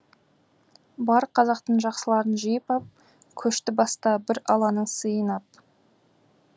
бар қазақтың жақсыларын жиып ап көшті баста бір алланың сыйын ап